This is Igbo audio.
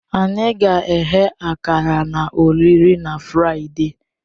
Anyị ga-eghe akara na olili na Fraịde.